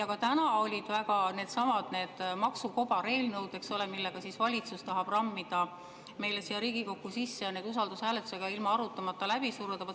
Ka täna oli seesama maksualane kobareelnõu, millega valitsus tahab rammida meile Riigikokku sisse, et see usaldushääletusega, ilma arutamata läbi suruda.